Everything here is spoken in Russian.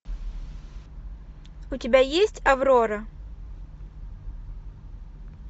у тебя есть аврора